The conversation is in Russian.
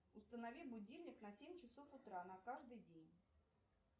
установи будильник на семь часов утра на каждый день